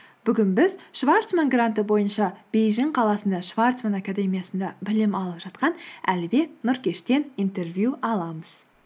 бүгін біз шварцман гранты бойынша бейжін қаласында шварцман академиясында білім алып жатқан әлібек нұркештен интервью аламыз